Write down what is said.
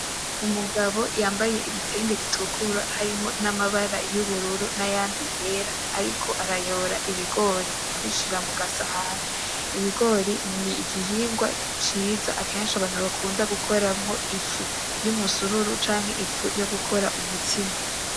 Umugabo yambaye ibitenge bitukura harimwo n'amabara y'ubururu nayandi yera ariko arayora ibigori abishira mu gasahani, ibigori n'igihingwa ciza akenshi abantu bakunda gukoramwo ifu y'umusururu, canke ifu yogukora umutsima.